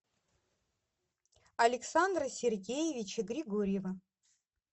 александра сергеевича григорьева